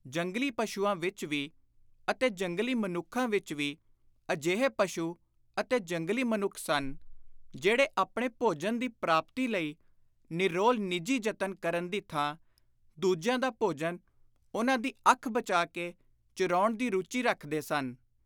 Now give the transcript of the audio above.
ਜੰਗਲੀ ਪਸ਼ੂਆਂ ਵਿਚ ਵੀ ਅਤੇ ਜੰਗਲੀ ਮਨੁੱਖਾਂ ਵਿਚ ਵੀ ਅਜਿਹੇ ਪਸ਼ੂ ਅਤੇ ਜੰਗਲੀ ਮਨੁੱਖ ਸਨ ਜਿਹੜੇ ਆਪਣੇ ਭੋਜਨ ਦੀ ਪ੍ਰਾਪਤੀ ਲਈ ਨਿਰੋਲ ਨਿੱਜੀ ਜਤਨ ਕਰਨ ਦੀ ਥਾਂ ਦੂਜਿਆਂ ਦਾ ਭੋਜਨ, ਉਨ੍ਹਾਂ ਦੀ ਅੱਖ ਬਚਾ ਕੇ ਚੁਰਾਉਣ ਦੀ ਰੁਚੀ ਰੱਖਦੇ ਸਨ।